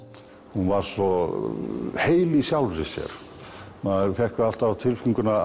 hún var svo heil í sjálfri sér maður fékk alltaf á tilfinninguna